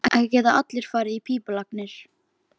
Ekki geta allir farið í pípulagnir.